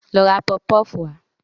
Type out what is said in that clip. Lọ ra pọfpọf wá